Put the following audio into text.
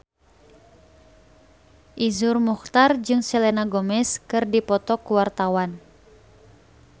Iszur Muchtar jeung Selena Gomez keur dipoto ku wartawan